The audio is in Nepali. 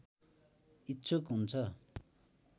इच्छुक हुन्छ